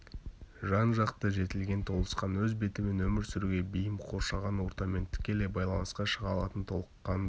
жан-жақты жетілген толысқан өз бетімен өмір сүруге бейім қоршаған ортамен тікелей байланысқа шыға алатын толыққанды